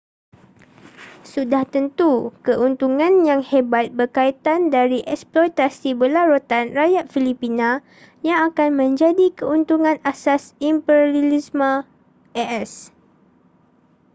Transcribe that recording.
sudah tentu keuntungan yang hebat berkaitan dari eksploitasi berlarutan rakyat filipina yang akan menjadi keuntungan asas imperialisme a.s